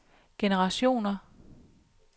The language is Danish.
generationer